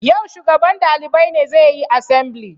Yau shugaban dalibai ne zai yi asambili